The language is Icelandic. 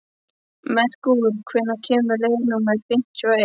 Merkúr, hvenær kemur leið númer fimmtíu og eitt?